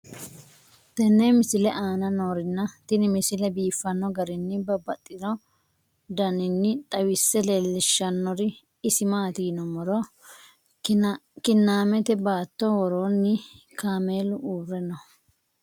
tenne misile aana noorina tini misile biiffanno garinni babaxxinno daniinni xawisse leelishanori isi maati yinummoro kiinnammette baatto woroonni kaameelu uure noo